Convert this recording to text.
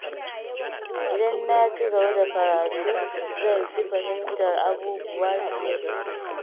Idan na ci gaba da karatu, zan fi fahimtar abubuwa fiye da jiya.